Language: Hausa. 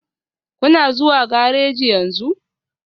Kuna zuwa gareji yanzu?